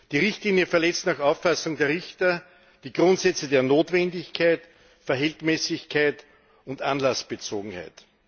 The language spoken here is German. Die Richtlinie verletzt nach Auffassung der Richter die Grundsätze der Notwendigkeit, der Verhältnismäßigkeit und der Anlassbezogenheit.